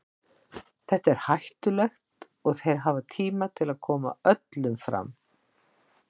Þetta er hættulegt og þeir hafa tíma til að koma öllum fram.